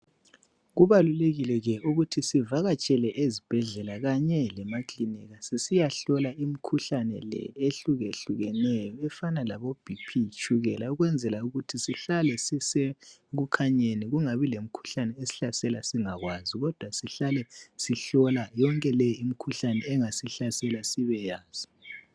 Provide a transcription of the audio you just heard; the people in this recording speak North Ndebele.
Kubalulekile ke ukuthi sivakatshele ezibhedlela kanye lemakilinika sisiyahlola imikhuhlane le ehluke hlukeneyo efana labo BP letshukela ukwenzela ukuthi sihlale sisekukhanyeni kungabi lemikhuhlane esihlasela singakwazi kodwa sihlale sihlola yonke le imikhuhlane engasihlasela sibeyazi.